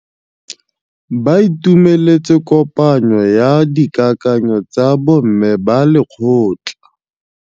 Ba itumeletse kôpanyo ya dikakanyô tsa bo mme ba lekgotla.